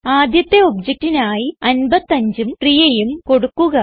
ആദ്യത്തെ objectനായി 55ഉം Priyaഉം കൊടുക്കുക